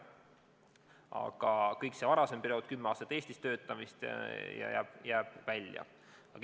Aga kõik see varasem periood – kümme aastat Eestis töötamist – jääb arvestusest välja.